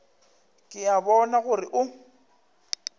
ke a bona gore o